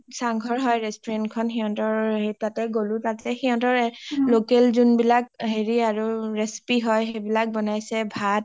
চাং ঘৰ হয় restaurant খন সিহতৰ সেই তাতে গ’লো সিহতৰে local যোনবিলাক হেৰি আৰু recipe হয় সেই বিলাক বনাইছে ভাত